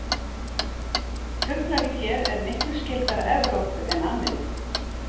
Fuglalíf hér er miklu skyldara Evrópu en Ameríku.